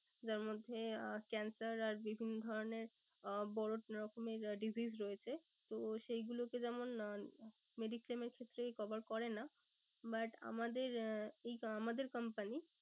যার মধ্যে আহ cancer আর বিভিন্ন ধরণের আহ বড়ো রকমের disease রয়েছে তো সেই গুলোকে যেমন আহ mediclaim এর ক্ষেত্রে cover করে না but আমাদের আমাদের company ই